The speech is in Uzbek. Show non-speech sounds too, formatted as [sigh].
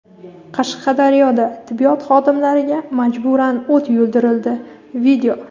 Qashqadaryoda tibbiyot xodimlariga majburan o‘t yuldirildi. [video]